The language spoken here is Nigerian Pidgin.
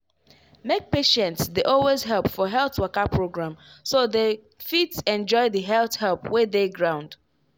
make patients dey always help for health waka program so dem fit enjoy the health help wey dey ground.